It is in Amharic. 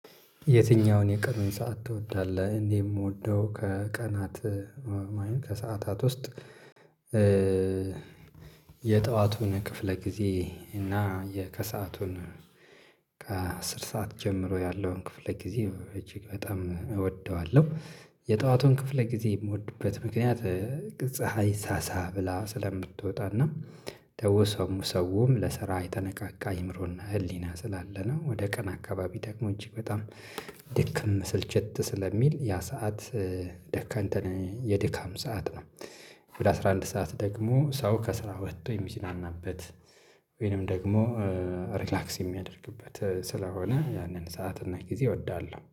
የትኛውን የቀኑን ሰዓት ትወዳለህ? እኔ የምወደው ከቀናት ከሰዓታት ውስጥ የጠዋቱን ክፍለ ጊዜ እና የከሰአቱን ከ አስር ሰዓት ጀምሮ ያለውን ክፍለ ጊዜ እጅግ በጣም እወደዋለሁ። የጠዋቱን ክፍለ ጊዜ የምወድበት ምክንያት ፀሀይ ሳሳ ብላ ስለምትወጣና ተው ሰው ሰውም ለስራ የተነቃቃ አይምሮና ህሊና ስላለ ነው። ወደ ቀን አካባቢ ደግሞ እጅግ በጣም ድክም ስልችት ስለሚል ያ ሰዓት ደካተን የድካም ሰዓት ነው። ወደ አስራ አንድ ሰዓት ደግሞ ሰው ከስራ ወጥቶ የሚዝናናበት ወይንም ደግሞ ሪላክስ የሚያደርግበት ስለሆነ ያንን ሰዓት እና ጊዜ እወዳለሁ